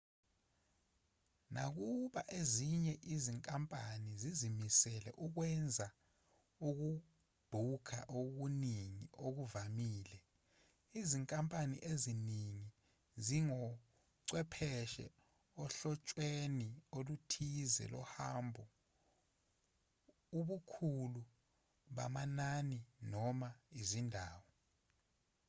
nakuba ezinye izinkampani zizimisele ukwenza ukubhukha okuningi okuvamile izinkampani eziningi zingochwepheshe ohlotshweni oluthize lohambo ubukhulu bamanani noma izindawo